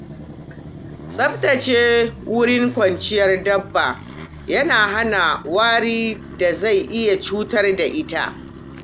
Tsaftace wurin kwanciyar dabba yana hana warin da zai iya cutar da lafiyarta.